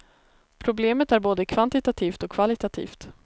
Problemet är både kvantitativt och kvalitativt.